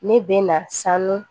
Ne bɛ na sanu